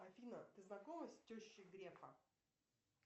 афина ты знакома с тещей грефа